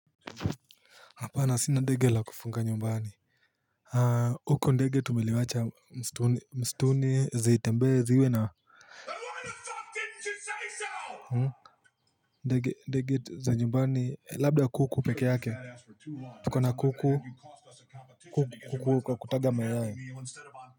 Hapana sina ndege la kufuga nyumbani huko ndege tumeliwacha msituni zitembee ziwe na ndege ndege za nyumbani labda kuku peke yake tuko na kuku ku ku kwa kutaga maya.